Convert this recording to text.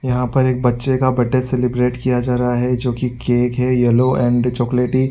यहाँ पर एक बच्चे का बर्थडे सेलिब्रेट किया जा रहा है जो की केक है येलो एण्ड चॉकलेटी --